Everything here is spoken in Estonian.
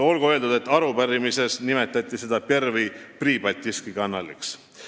Olgu öeldud, et arupärimises nimetati seda Pervõi Pribaltiskii Kanaliks.